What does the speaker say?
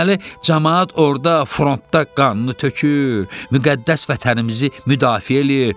Deməli camaat orda frontda qanını tökür, müqəddəs vətənimizi müdafiə eləyir.